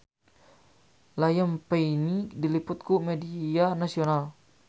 Liam Payne diliput ku media nasional